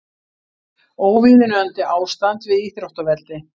Óviðunandi ástand við íþróttavelli